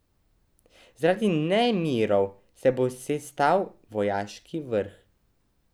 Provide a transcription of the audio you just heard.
Zaradi nemirov se bo sestal vojaški vrh.